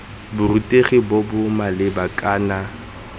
borutegi bo bo maleba kana